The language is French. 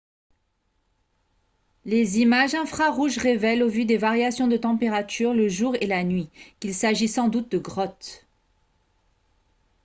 les images infrarouges révèlent au vu des variations de température le jour et la nuit qu'il s'agit sans doute de grottes